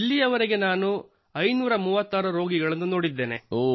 ಇಲ್ಲಿಯವರೆಗೆ ನಾನು 536 ರೋಗಿಗಳನ್ನು ನೋಡಿದ್ದೇನೆ